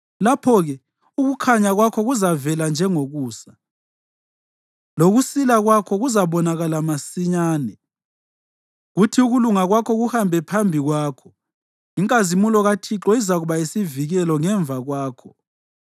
Lapho-ke ukukhanya kwakho kuzavela njengokusa, lokusila kwakho kuzabonakala masinyane, kuthi ukulunga kwakho kuhambe phambi kwakho, inkazimulo kaThixo izakuba yisivikelo ngemva kwakho.